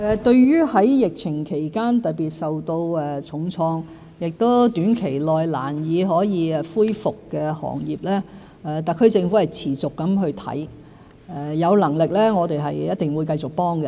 對於在疫情期間特別受到重創，亦於短期內難以恢復的行業，特區政府是持續地檢視情況，有能力的話我們一定會繼續幫助。